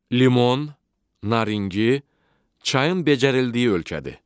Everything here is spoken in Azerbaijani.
Limon, naringi, çayın becərildiyi ölkədir.